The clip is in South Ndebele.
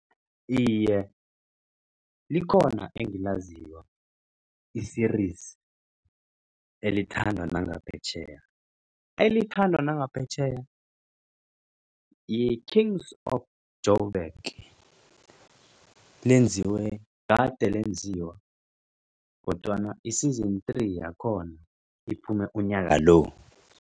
Iye, likhona engilaziko i-series elithandwa nangaphetjheya elithandwa nangaphetjheya yi-Kings of Jo'Burg lenziwe kade lenziwa kodwana i-season three yakhona iphume unyaka lo.